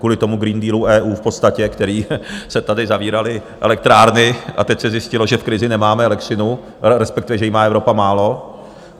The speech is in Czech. Kvůli tomu Green Dealu EU v podstatě, který... se tady zavíraly elektrárny, a teď se zjistilo, že v krizi nemáme elektřinu, respektive, že jí má Evropa málo.